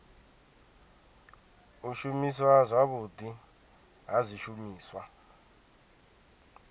u shumiswa zwavhudi ha zwishumiswa